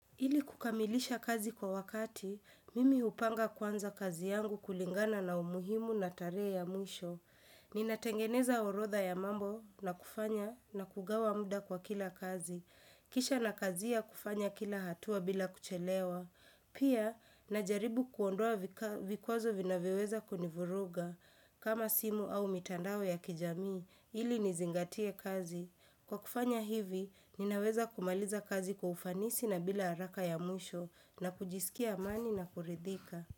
Ili kukamilisha kazi kwa wakati, mimi hupanga kwanza kazi yangu kulingana na umuhimu na tarehe ya mwisho. Ninatengeneza orodha ya mambo na kufanya na kugawa muda kwa kila kazi. Kisha nakazia kufanya kila hatua bila kuchelewa. Pia, najaribu kuondoa vikwazo vinavyoweza kunivuruga. Kama simu au mitandao ya kijamii, ili nizingatie kazi. Kwa kufanya hivi, ninaweza kumaliza kazi kwa ufanisi na bila haraka ya mwisho na kujisikia amani na kuridhika.